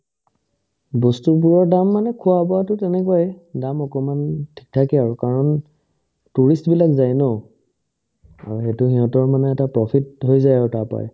বস্তুবোৰৰ দাম মানে খোৱা-বোৱাতো তেনেকুৱাই দাম অকনমানে থেহ্ থাকে আৰু কাৰণ tourist বিলাক যাই ন অ সেইতো সিহঁতৰ মানে এটা profit হৈ যায় আৰু তাৰ পাই